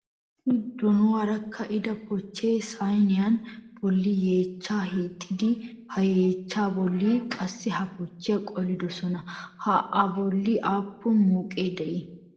Issi donuwaara ka'ida pochchee sayiniya bolli yeechchaa hiixxidi he yeechchaa bolli qassi ha pochchiya qolidosona. Ha a bolli aappun mooqee dii?